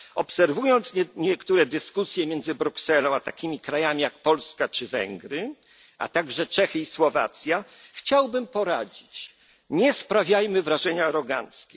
niedawno Obserwując niektóre dyskusje między Brukselą a takimi krajami jak Polska czy Węgry, ale także Czechy i Słowacja, chciałbym poradzić nie sprawiajmy wrażenia aroganckich.